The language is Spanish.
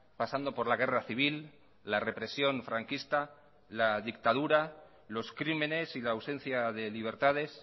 pasando por la guerra civil la represión franquista la dictadura los crímenes y la ausencia de libertades